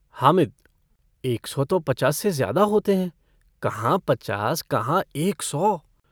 हामिद - एक सौ तो पचास से ज़्यादा होते हैं। कहाँ पचास कहाँ एक सौ।